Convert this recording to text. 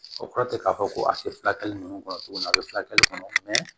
O kɔrɔ tɛ k'a fɔ ko a tɛ furakɛli ninnu kɔnɔ tuguni a bɛ furakɛli kɔnɔ